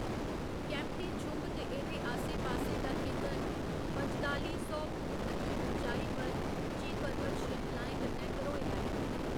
केम्प्टी छुंभ ते एह्‌दे आसे पासे दा खेतर पंजताली सौ फुट्ट दी ऊचाई पर उच्ची परबत श्रृंखलाएं कन्नै घरोए दा ऐ।